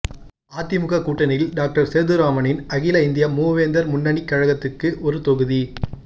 அதிமுக கூட்டணியில் டாக்டர் சேதுராமனின் அகில இந்திய மூவேந்தர் முன்னணிக் கழகத்துக்கு ஒரு தொகுதி